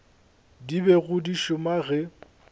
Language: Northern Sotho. di bego di šoma ge